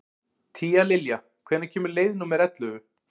Tíalilja, hvenær kemur leið númer ellefu?